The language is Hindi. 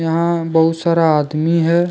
यहां बहुत सारा आदमी है।